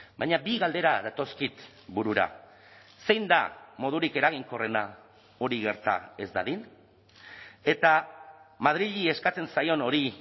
baina bi galdera datozkit burura zein da modurik eraginkorrena hori gerta ez dadin eta madrili eskatzen zaion hori